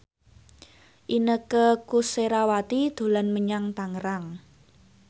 Inneke Koesherawati dolan menyang Tangerang